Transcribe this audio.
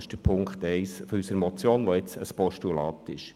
Das ist Punkt 1 unserer Motion, die jetzt ein Postulat ist.